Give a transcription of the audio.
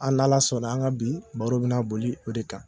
An ala sɔnna an ka bi baro bɛna boli o de kan..